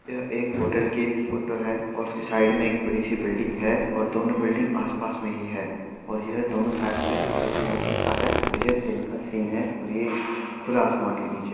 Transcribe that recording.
यह एक होटल की फोटो है और उसके साइड में एक बड़ी सी बिल्डिंग है और दोनों बिल्डिंग आस पास में ही हैं और ये दोनों शायद से कोई होटल हो सकता है और ये दिन का सीन है और ये खुला आसमान के नीचे --